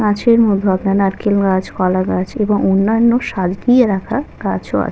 কাঁচের মধ্যে আপনার নারকেল গাছকলা গাছ এবং অন্যান্য সার দিয়ে রাখা গাছও আ--